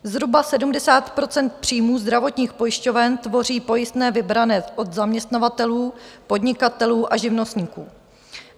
Zhruba 70 % příjmů zdravotních pojišťoven tvoří pojistné vybrané od zaměstnavatelů, podnikatelů a živnostníků.